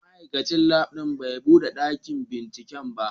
Ma'aikacin Lab din bai bude dakin binciken ba.